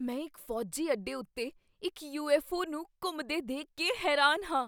ਮੈਂ ਇੱਕ ਫ਼ੌਜੀ ਅੱਡੇ ਉੱਤੇ ਇੱਕ ਯੂ.ਐੱਫ਼.ਓ. ਨੂੰ ਘੁੰਮਦੇ ਦੇਖ ਕੇ ਹੈਰਾਨ ਹਾਂ।